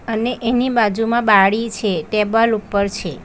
અને એની બાજુમા બારી છે ટેબલ ઉપર છે.